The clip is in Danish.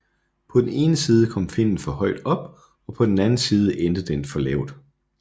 På den ene side kom finnen for højt op og på den anden side endte den for lavt